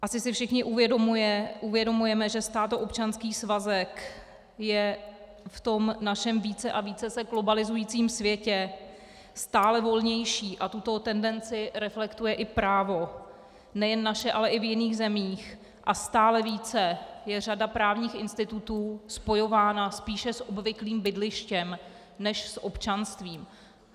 Asi si všichni uvědomujeme, že státoobčanský svazek je v tom našem více a více se globalizujícím světě stále volnější, a tuto tendenci reflektuje i právo nejen naše, ale i v jiných zemích, a stále více je řada právních institutů spojována spíše s obvyklým bydlištěm než s občanstvím.